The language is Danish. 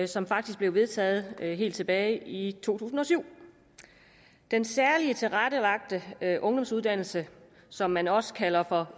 som faktisk blev vedtaget helt tilbage i to tusind og syv den særligt tilrettelagte ungdomsuddannelse som man også kalder for